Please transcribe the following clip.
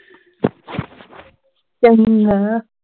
ਚੰਗਾ